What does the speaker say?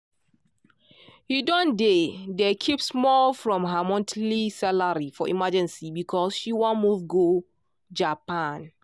he don dey dey keep small from her monthly salary for emergency because she wan move go japan.